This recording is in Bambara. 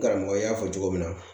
Karamɔgɔ y'a fɔ cogo min na